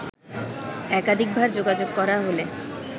একাধিকবার যোগাযোগ করা হলে